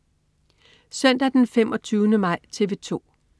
Søndag den 25. maj - TV 2: